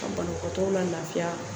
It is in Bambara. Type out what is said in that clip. Ka banakɔtɔw lafiya